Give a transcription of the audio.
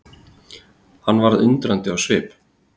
Hann varð undrandi á svip.